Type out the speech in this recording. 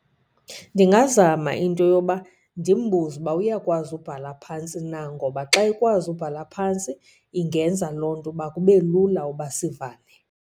Ndingazama into yoba ndimbuze uba uyakwazi ubhala phantsi na. Ngoba xa ekwazi ubhala phantsi ingenza loo nto uba kube lula uba sivane.